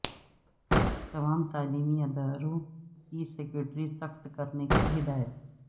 تمام تعلیمی اداروں کی سکیورٹی سخت کرنے کی ہدایت